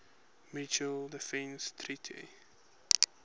mutual defense treaty